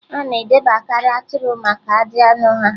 A na-edebekarị atụrụ maka ajị anụ ha